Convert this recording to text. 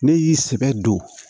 Ne y'i sɛbɛ don